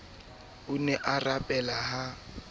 o ne a rapela ha